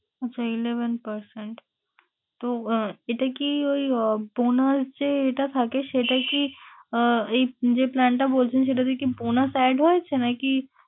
আচ্ছা eleven percent, তো আহ এটা কি ওই আহ bonus যেটা থাকে সেটা কি আহ এই যেই plan টা বলছেন সেটাতে কি bonus add হয়েছে নাকি